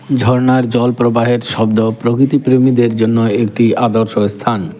ঝর্নার জল প্রবাহের শব্দ প্রকৃতি প্রেমীদের জন্য একটি আদর্শ স্থান।